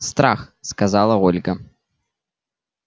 страх сказала ольга